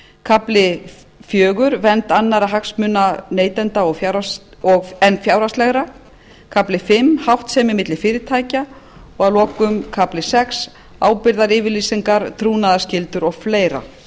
kafli fjögur vernd annarra hagsmuna neytenda en fjárhagslegra kafli fimm háttsemi milli fyrirtækja og að lokum kafli sex ábyrgðaryfirlýsingar trúnaðarskyldur og fleiri